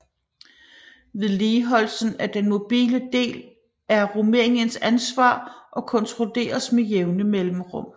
Vedligeholdelsen af den mobile del er Rumæniens ansvar og kontrolleres med jævne mellemrum